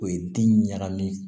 O ye den ɲagami ye